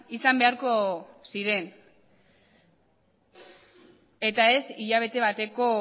izan beharko ziren eta ez hilabete bateko